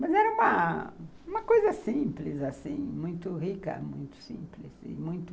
Mas era uma, uma coisa simples assim, muito rica, muito simples e muito...